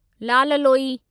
Lal Loi